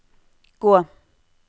gå